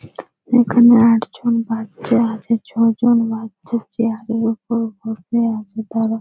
এখানে আট জন বাচ্চা আছে ছ জন বাচ্চা চেয়ার -এর উপর বসে আছে তারা--